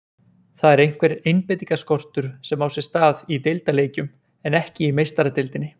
Það er einhver einbeitingarskortur sem á sér stað í deildarleikjum en ekki í Meistaradeildinni.